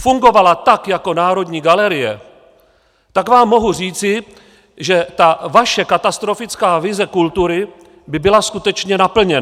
fungovala tak jako Národní galerie, tak vám mohu říci, že ta vaše katastrofická vize kultury by byla skutečně naplněna.